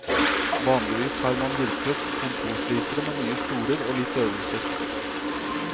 Vanligvis har man hjulpet kontorslitere med nye stoler og litt øvelser.